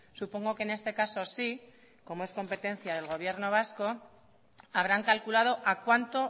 supongo que en este caso sí como es competencia del gobierno vasco habrán calculado a cuánto